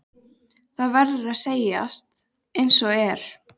Það verður að segjast einsog er.